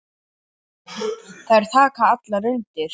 Þær taka allar undir.